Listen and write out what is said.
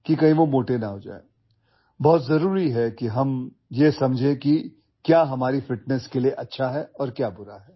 কি ভাল আৰু কি বেয়া সেই কথা বুজাটো আমাৰ ফিটনেছৰ বাবে অতি গুৰুত্বপূৰ্ণ